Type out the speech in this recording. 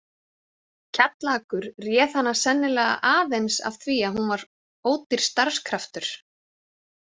Kjallakur réð hana sennilega aðeins af því að hún var ódýr starfskraftur.